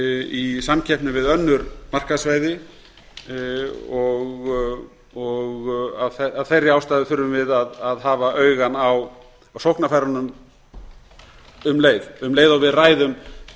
í samkeppni við önnur markaðssvæði af þeirri ástæðu þurfum við að hafa auga á sóknarfærunum um leið og við ræðum